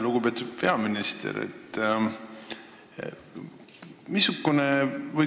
Lugupeetud peaminister!